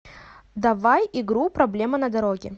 давай игру проблема на дороге